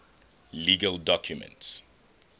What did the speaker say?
legal documents